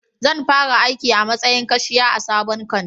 Zan fara aiki a matsayin kashiya a sabon kantin